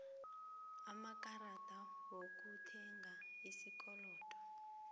amakarada wokuthenga ngesikolodo